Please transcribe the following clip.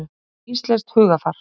Þannig er íslenskt hugarfar.